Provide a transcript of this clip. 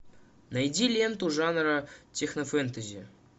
найди ленту жанра технофэнтези